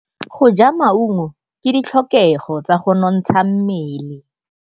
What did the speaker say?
Go ja maungo ke ditlhokegô tsa go nontsha mmele.